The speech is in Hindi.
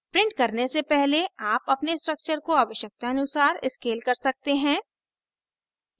प्रिंट करने से पहले आप अपने structure को आवश्यकतानुसार scale कर सकते हैं